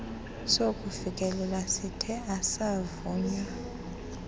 sokufikelela sithe asavunywa